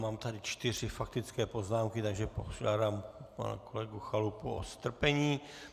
Mám tady čtyři faktické poznámky, takže požádám pana kolegu Chalupu o strpení.